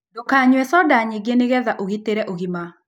Ndũkanyũe soda nyĩngĩ nĩgetha ũgĩtĩre ũgima